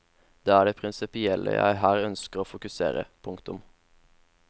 Det er det prinsipielle jeg her ønsker å fokusere. punktum